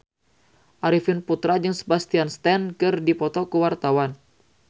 Arifin Putra jeung Sebastian Stan keur dipoto ku wartawan